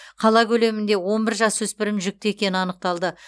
қала көлемінде он бір жасөспірім жүкті екені анықталды